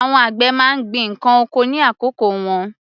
Àwọn àgbẹ̀ má ń gbin ǹkan oko ní àkókò wọn.